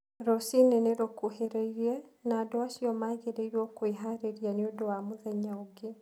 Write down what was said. Rũcinĩ nĩ rũkuhĩrĩirie, na andũ acio magĩrĩirũo kwĩharĩria nĩ ũndũ wa mũthenya ũngĩ.